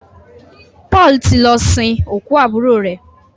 Paul tí lọ sin okú aburo rẹ.